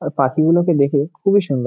আর পাখি গুলোকে দেখে খুব এই সুন্দর --